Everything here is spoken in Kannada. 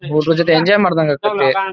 ಹುಡುಗರ ಜೊತೆ ಎಂಜಾಯ್ ಮಾಡಿದಂಗೆ ಆಗ್ತತ್ತಿ.